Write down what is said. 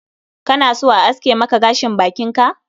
Kana so a aske maka gashin bakin ka?